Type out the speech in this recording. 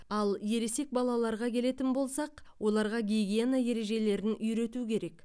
ал ересек балаларға келетін болсақ оларға гигиена ережелерін үйрету керек